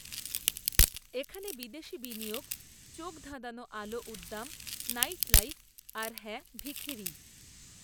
এখানে বিদেশি বিনিয়োগ চোখধাঁধানো আলো উদ্দাম নাইটলাইফ আর হ্যাঁ ভিখিরি